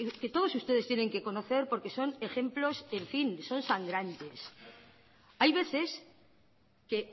que todos ustedes tienen que conocer porque son ejemplos en fin son sangrantes hay veces que